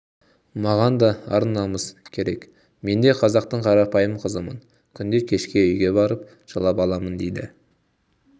маған да ар-намыс керек менде қазақтың қарапайым қызымын күнде кешке үйге барып жылап аламын дейді